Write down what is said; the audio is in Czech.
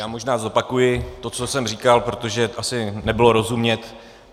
Já možná zopakuji to, co jsem říkal, protože asi nebylo rozumět.